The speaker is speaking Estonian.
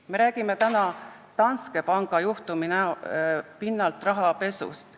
Me räägime täna Danske panga juhtumi pinnalt rahapesust.